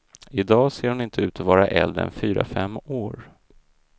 I dag ser hon inte ut att vara äldre än fyra, fem år.